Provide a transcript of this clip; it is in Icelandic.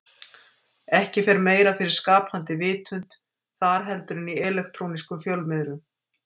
Ekki fer meira fyrir skapandi vitund þar heldur en í elektrónískum fjölmiðlum.